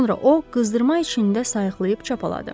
Sonra o qızdırma içində sayıqlayıb çapaladı.